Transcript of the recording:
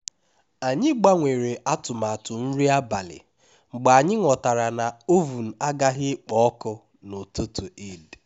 anyị gbanwere atụmatụ nri abalị mgbe anyị ghọtara na oven agaghị ekpo ọkụ n'ụtụtụ eid